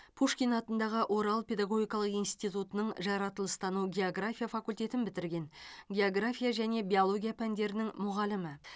пушкин атындағы орал педагогикалық институтының жаратылыстану география факультетін бітірген география және биология пәндерінің мұғалімі